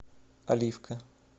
оливка